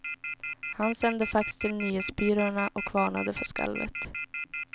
Han sände fax till nyhetsbyråerna och varnade för skalvet.